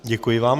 Děkuji vám.